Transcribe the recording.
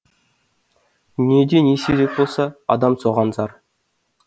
дүниеде не сирек болса адам соған зар